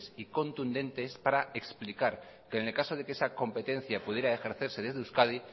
y contundentes para explicar que en el caso de que esa competencia pudiera ejercerse desde euskadi